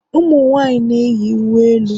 Ụmụ nwanyị na-eyi uwe elu